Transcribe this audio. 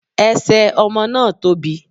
Ẹsẹ̀ ọmọ náà tóbi